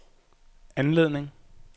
anledning